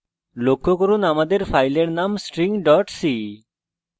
লক্ষ্য করুন আমাদের file name string c